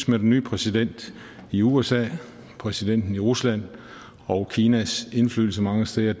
med den nye præsident i usa præsidenten i rusland og kinas indflydelse mange steder